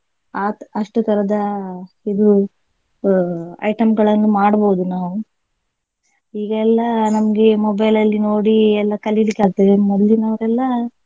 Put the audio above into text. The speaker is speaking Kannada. ಅಹ್ ಅಷ್ಟು ತರಹದ ಇದು ಅಹ್ item ಗಳನ್ನು ಮಾಡ್ಬೋದು ನಾವು ಈಗ ಎಲ್ಲಾ ನಮ್ಗೆ mobile ನೋಡಿ ಎಲ್ಲಾ ಕಲಿಲಿಕ್ಕೆ ಆಗ್ತದೆ ಮೊದಲಿನವರೆಲ್ಲ.